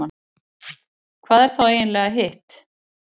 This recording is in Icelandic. hvað er þá eiginlega hitt